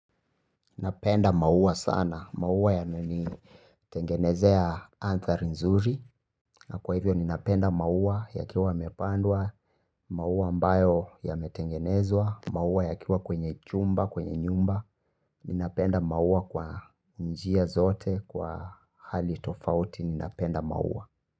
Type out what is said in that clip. Napenda maua sana, maua yananitengenezea anthari nzuri. Na kwa hivyo ninapenda maua yakiwa yamepandwa, maua ambayo yametengenezwa, maua yakiwa kwenye chumba, kwenye nyumba. Ninapenda maua kwa njia zote, kwa hali tofauti, ninapenda maua.